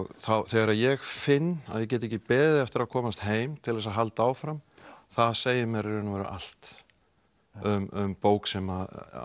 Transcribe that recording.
þegar ég finn að ég get ekki beðið eftir að komast heim til þess að halda áfram það segir mér í raun og veru allt um bók sem